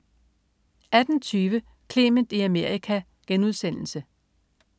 18.20 Clement i Amerika*